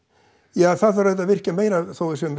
ja það þarf auðvitað að virkja meira